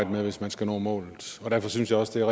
med hvis man skal nå målet og derfor synes jeg også det